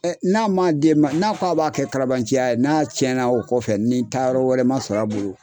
n'a man d'e ma n'a ko a b'a kɛ karabanciya ye n'a cɛn na o kɔfɛ ni taa yɔrɔ wɛrɛ man sɔrɔ a bolo.